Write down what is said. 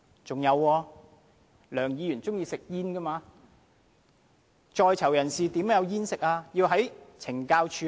還有，梁議員喜歡吸煙，但在囚人士怎樣才有香煙可吸呢？